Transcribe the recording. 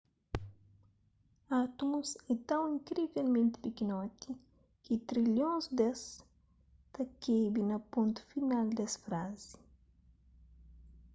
átumus é ton inkrivelmenti pikinoti ki trilhons des ta kebe na pontu final des frazi